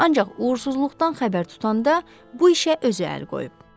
Ancaq uğursuzluqdan xəbər tutanda bu işə özü əl qoyub.